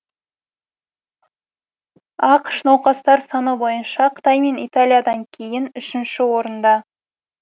ақш науқастар саны бойынша қытай мен италиядан кейін үшінші орында